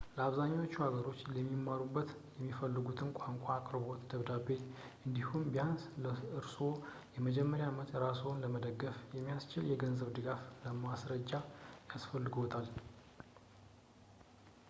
ለአብዛኞቹ ሀገሮች ሊማሩበት ከሚፈልጉት ተቋም የአቅርቦት ደብዳቤ እንዲሁም ቢያንስ ለኮርስዎ የመጀመሪያ ዓመት ራስዎን ለመደገፍ የሚያስችል የገንዘብ ድጋፍ ማስረጃ ያስፈልግዎታል